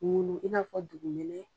I n'a fɔ dugu minɛ.